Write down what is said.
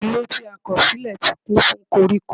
Ilé tí a kọ̀ sílẹ̀ ti kún fún koríko.